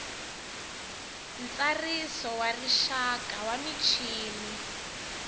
ntsariso wa rixaka wa michini